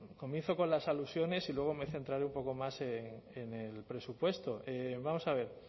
comienzo con las alusiones y luego me centraré un poco más en el presupuesto vamos a ver